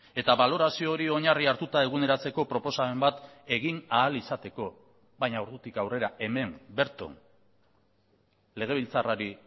eta balorazio hori oinarri hartuta eguneratzeko proposamen bat egin ahal izateko baina ordutik aurrera hemen berton legebiltzarrari